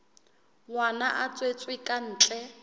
ngwana a tswetswe ka ntle